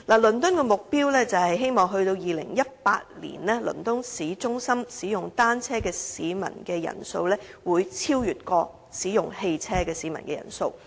倫敦的目標是在2018年，倫敦市中心使用單車的市民人數會超越使用汽車的市民人數。